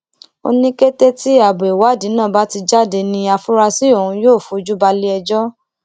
ó ní kété tí abo ìwádìí náà bá ti jáde ní àfúráṣí ọhún yóò fojú balẹẹjọ